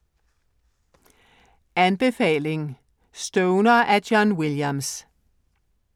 Anbefaling: Stoner af John Williams